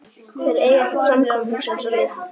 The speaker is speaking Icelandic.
Þeir eiga ekkert samkomuhús eins og við.